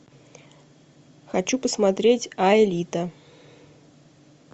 хочу посмотреть аэлита